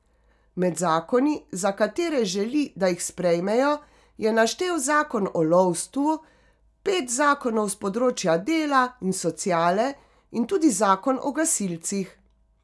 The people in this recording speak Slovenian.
Med zakoni, za katere želi, da jih sprejmejo, je naštel zakon o lovstvu, pet zakonov s področja dela in sociale in tudi zakon o gasilcih.